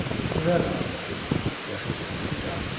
Sizə də aiddir, yaşıl kətanquşu cavab verdi.